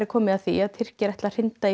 komið að því Tyrkir ætli að hrinda